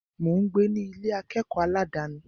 Mò ń gbé ní Ilé akẹ́kọ̀ọ́ aládàni.